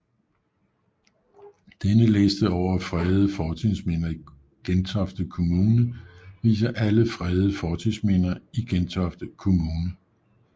Denne liste over fredede fortidsminder i Gentofte Kommune viser alle fredede fortidsminder i Gentofte Kommune